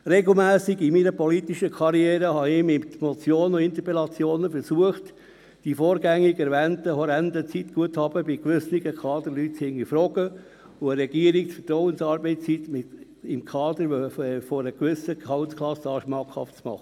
Regelmässig habe ich in meiner politischen Karriere mit Motionen und Interpellationen versucht, die vorgängig erwähnten, horrenden Zeitguthaben bei gewissen Kaderleuten zu hinterfragen und der Regierung die Vertrauensarbeitszeit für Kader ab einer gewissen Gehaltsklasse schmackhaft zu machen.